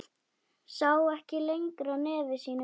Sá ekki lengra nefi sínu.